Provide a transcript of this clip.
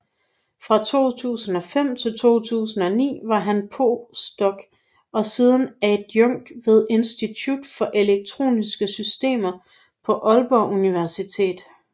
Fra 2005 til 2009 var han postdoc og siden adjunkt ved Institut for Elektroniske Systemer på Aalborg Universitet